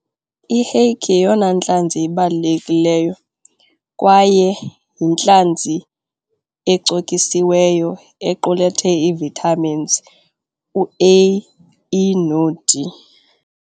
I-hake yeyona ntlanzi ibalulekileyo kwaye yintlanzi ecokisiweyo equlethe ii-vitamins u-A_E no-D.